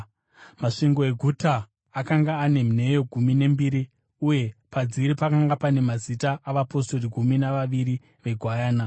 Masvingo eguta akanga ane nheyo gumi nembiri, uye padziri pakanga pane mazita avapostori gumi navaviri veGwayana.